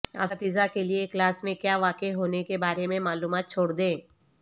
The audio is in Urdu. اساتذہ کے لئے کلاس میں کیا واقع ہونے کے بارے میں معلومات چھوڑ دیں